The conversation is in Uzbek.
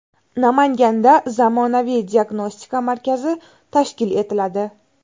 Namanganda zamonaviy diagnostika markazi tashkil etiladi.